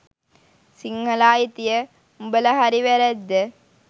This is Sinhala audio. සිංහල අයිතිය – උඹල හරි වැරැද්ද